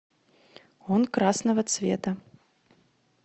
он красного цвета